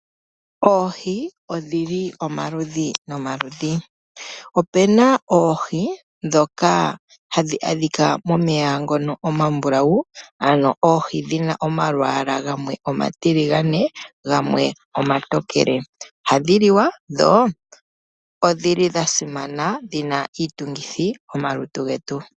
Oohi odhili omaludhi nomaludhi. Opuna oohi dhoka hadhi kala momeya ngoka omambulawu ano oohi dhina omalwala gamwe omatiligane, gamwe omatokele ohadhi liwa dho odhili dhasimana dhina iitungithi momaluntu getu.